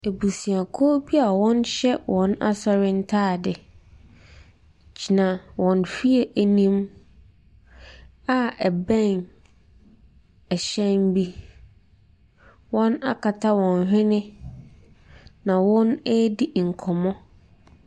Abusuakuo bi a wɔhyɛ wɔn asɔre ntaade gyina wɔn fie anim a ɛbɛn hyɛn bi. Wɔakata wɔn hwene na wɔredi nkɔmmɔ.